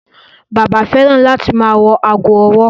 Bàbá fẹ́ràn láti ma wọ ago ọwọ́.